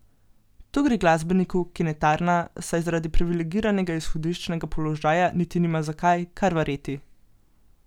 Tu gre glasbeniku, ki ne tarna, saj zaradi privilegiranega izhodiščnega položaja niti nima zakaj, kar verjeti.